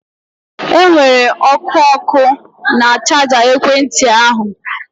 Enwere ọkụ ọkụ na chaja ekwentị ahụ